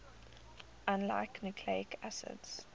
unlike nucleic acids